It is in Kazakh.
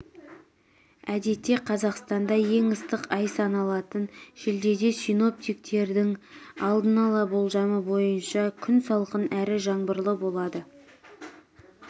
әдетте қазақстанда ең ыстық ай саналатын шілдеде синоптиктердің алдын-ала болжамы бойынша күн салқын әрі жаңбырлы болады